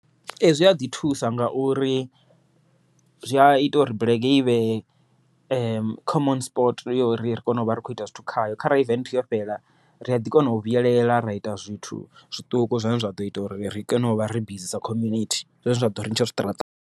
Ee zwi aḓi thusa ngauri zwi a ita uri bulege i vhe common sport ya uri ri kone u vha ri kho ita zwithu khayo, kharali event yo fhela ri aḓi kona u vhuyelela ra ita zwithu zwiṱuku zwine zwa ḓo ita uri ri kone u vha ri bizi sa community zwine zwa ḓo ri ntsha zwiṱaraṱani.